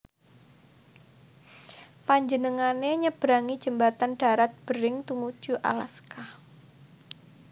Panjenengané nyeberangi jembatan darat Bering tumuju Alaska